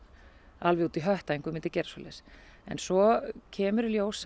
alveg út í hött að einhver myndi gera svoleiðis en svo kemur í ljós